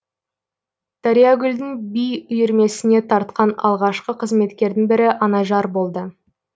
дариягүлдің би үйірмесіне тартқан алғашқы қызметкердің бірі анажар болды